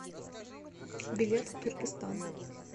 билет туркестан